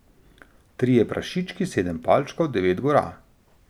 Trije prašički, sedem palčkov, devet gora.